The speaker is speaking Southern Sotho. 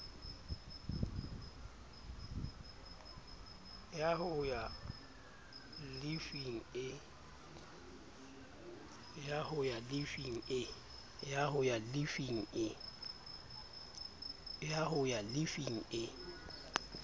ya ho ya llifing e